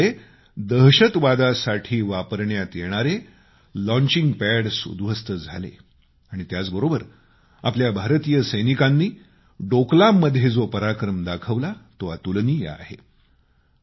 यामुळं दहशतवादासाठी वापरण्यात येणारे लाँचिंग पॅडस् उद्ध्वस्त झाले आणि त्याचबरोबर आपल्या भारतीय सैनिकांनी डोकलाममध्ये जो पराक्रम दाखवला तो अतुलनीय आहे